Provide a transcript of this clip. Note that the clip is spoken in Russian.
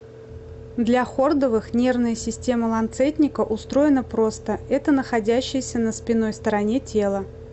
для хордовых нервная система ланцетника устроена просто это находящаяся на спинной стороне тела